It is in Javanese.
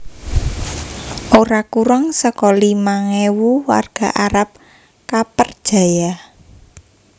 Ora kurang saka limang ewu warga Arab kapperjaya